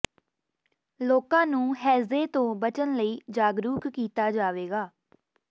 ਲੋਕਾਂ ਨੂੰ ਹੈਜ਼ੇ ਤੋਂ ਬਚਣ ਲਈ ਜਾਗਰੂਕ ਕੀਤਾ ਜਾਵੇਗਾ